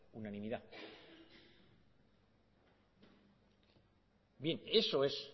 unanimidad bien eso es